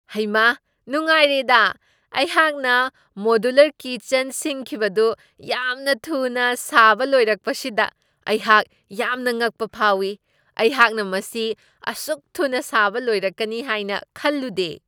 ꯍꯩꯃꯥ ꯅꯨꯡꯉꯥꯏꯔꯦꯗꯥ! ꯑꯩꯍꯥꯛꯅ ꯃꯣꯗ꯭ꯌꯨꯂꯔ ꯀꯤꯆꯟ ꯁꯤꯡꯈꯤꯕꯗꯨ ꯌꯥꯝꯅ ꯊꯨꯅ ꯁꯥꯕ ꯂꯣꯏꯔꯛꯀꯄꯁꯤꯗ ꯑꯩꯍꯥꯛ ꯌꯥꯝꯅ ꯉꯛꯄ ꯐꯥꯎꯢ꯫ ꯑꯩꯍꯥꯛꯅ ꯃꯁꯤ ꯑꯁꯨꯛ ꯊꯨꯅ ꯁꯥꯕ ꯂꯣꯏꯔꯛꯀꯅꯤ ꯍꯥꯏꯅ ꯈꯜꯂꯨꯗꯦ ꯫